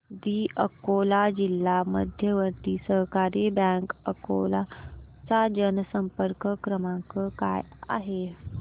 दि अकोला जिल्हा मध्यवर्ती सहकारी बँक अकोला चा जनसंपर्क क्रमांक काय आहे